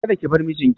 Kada ki bar mijin ki!